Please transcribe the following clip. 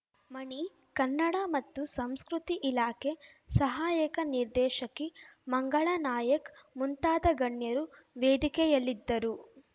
ಮಣಿ ಕನ್ನಡ ಮತ್ತು ಸಂಸ್ಕೃತಿ ಇಲಾಖೆ ಸಹಾಯಕ ನಿರ್ದೇಶಕಿ ಮಂಗಳಾ ನಾಯಕ್‌ ಮುಂತಾದ ಗಣ್ಯರು ವೇದಿಕೆಯಲ್ಲಿದ್ದರು